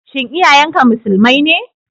Shin iyayen ka Musulmai ne?